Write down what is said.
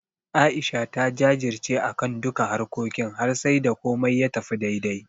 A'isha ta jajirce akan duka harkokin har sai da komai ya tafi daidai.